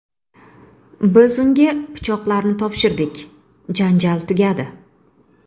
Biz unga pichoqlarni topshirdik, janjal tugadi.